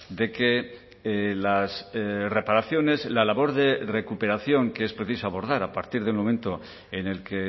de que las reparaciones la labor de recuperación que es preciso abordar a partir del momento en el que